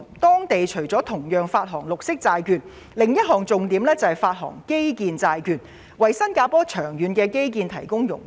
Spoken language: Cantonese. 當地除了同樣會發行綠色債券外，另一重點是會發行基建債券，為新加坡的長遠基建發展融資。